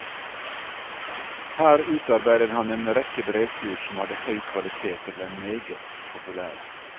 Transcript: Her utarbeidet han en rekke brevkurs, som hadde høy kvalitet og ble meget populære.